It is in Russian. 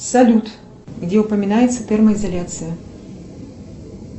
салют где упоминается термоизоляция